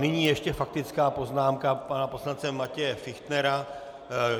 Nyní ještě faktická poznámka pana poslance Matěje Fichtnera.